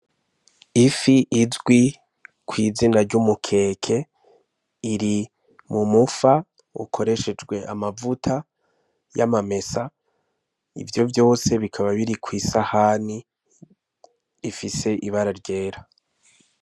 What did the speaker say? Ifi izwi kw'izina ry'umukeke, iri mumufa ukoreshejwe amavuta y'amamesa, ivyo vyose bikaba biri kw'isahani, ifise ibara ryera.